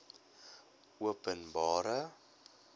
openbare